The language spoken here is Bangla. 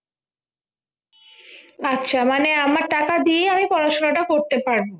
আচ্ছা মানে আমার টাকা দিয়ে আমি পড়াশোনাটা করতে পারব